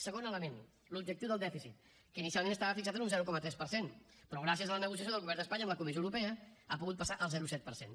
segon element l’objectiu del dèficit que inicialment estava fixat en un zero coma tres per cent però gràcies a la negociació del govern d’espanya amb la comissió europea ha pogut passat al zero coma set per cent